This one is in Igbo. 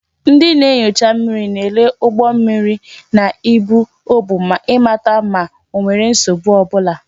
Ndị na-enyocha mmiri na-elele ụgbọ mmiri na ibu ọ bụ ịmata ma onwere nsogbu ọbụla